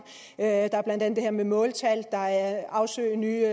der er blandt andet det her med måltal der er at afsøge nye